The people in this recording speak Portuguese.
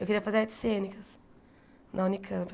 Eu queria fazer artes cênicas na Unicamp.